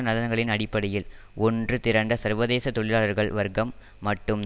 நலன்களின் அடிப்படையில் ஒன்று திரண்ட சர்வதேச தொழிலாளர்கள் வர்க்கம் மட்டும்